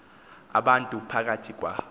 abantu phakathi kwa